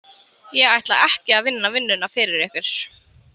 Ég ætla ekki að vinna vinnuna fyrir ykkur.